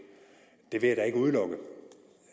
det vil jeg da ikke udelukke